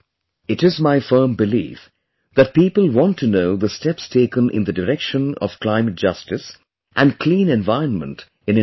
It is my firm belief that people want to know the steps taken in the direction of climate justice and clean environment in India